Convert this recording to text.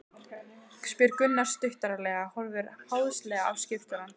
spyr Gunnar stuttaralega, horfir háðslega á skipstjórann.